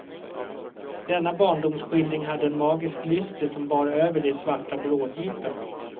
Denna barndomsskildring hade en magisk lyster som bar över de svarta bråddjupen.